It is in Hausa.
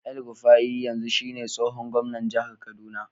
El-rufai yanzu shine tsohon gwamnan jihar kaduna.